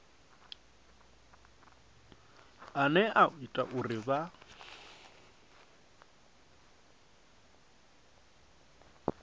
ane a ita uri vha